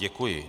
Děkuji.